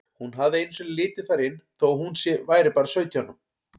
Hún hafði einu sinni litið þar inn þó að hún væri bara sautján.